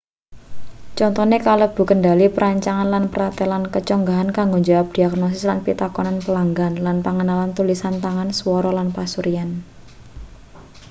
contone kalebu kendhali perancangan lan pratelan keconggah kanggo njawab diagnosis lan pitakonan pelanggan lan pangenalan tulisan tangan swara lan pasuryan